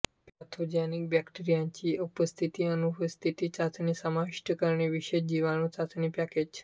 pathogenic बॅक्टेरियांची उपस्थिती अनुपस्थिती चाचणी समाविष्ट करणारे विशेष जीवाणू चाचणी पॅकेज